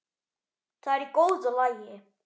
Það er í góðu lagi.